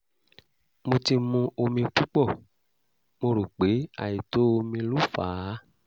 mo ti mu omi púpọ̀ mo rò pé àìtó omi ló fà á